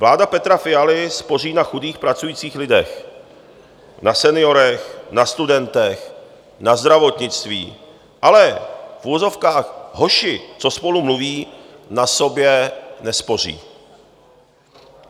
Vláda Petra Fialy spoří na chudých pracujících lidech, na seniorech, na studentech, na zdravotnictví, ale v uvozovkách hoši, co spolu mluví, na sobě nespoří.